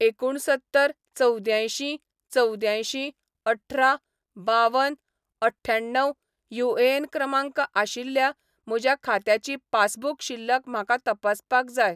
एकुणसत्तर चवद्द्यांयशीं चवद्यांयशीं अठरा बावन अठ्ठ्यण्णव युएएन क्रमांक आशिल्ल्या म्हज्या खात्याची पासबुक शिल्लक म्हाका तपासपाक जाय.